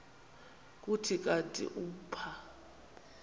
kuthi kanti umpha